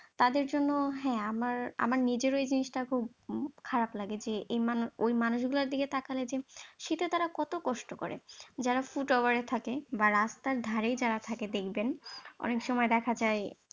তাদের জন্য হ্যাঁ আমার আমার নিজেরও এই জিনিসটা খুব খারপ লাগে যে ওই মানুষ গুলোর দিকে তাকালে যে শীতে তারা কত কষ্ট করে। যারা footballer এ থাকে বা রাস্তার ধারেই যারা থাকে দেখবেন অনেক সময় দেখা যায়।